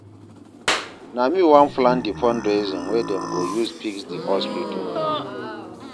Na me wan plan di fundraising wey dem go use fix di hospital.